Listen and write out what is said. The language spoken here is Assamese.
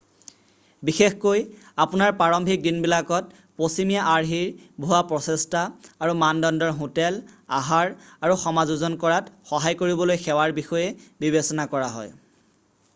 বিশেষকৈ আপোনাৰ প্ৰাৰম্ভিক দিনবিলাকত পশ্চিমীয়া-আৰ্হিৰ ভুৱা প্ৰচেষ্টা আৰু মানদণ্ডৰ হোটেল আহাৰ আৰু সমাযোজন কৰাত সহায় কৰিবলৈ সেৱাৰ বিষয়ে বিবেচনা কৰা হয়